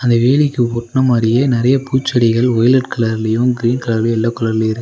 இந்த வேலிக்கு ஒட்ன மாரியே நிறைய பூச்செடிகள் வயலட் கலர்லயு கிரீன் கலர்லயு எல்லோ கலர்லயு இருக்--